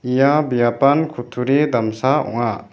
ia biapan kutturi damsa ong·a.